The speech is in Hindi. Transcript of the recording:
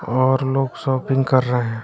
और लोग शॉपिंग कर रहें--